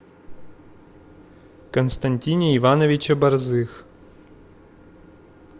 константине ивановиче борзых